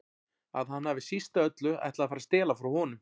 Að hann hafi síst af öllu ætlað að fara að stela frá honum.